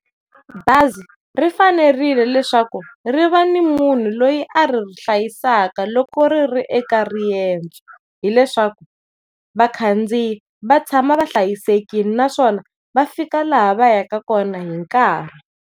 Bazi ri fanerile leswaku ri va ni munhu loyi a ri hlayisaka loko riri eka riendzo, hileswaku vakhandziyi va tshama va hlayisekile naswona va fika laha va yaka kona hinkarhi.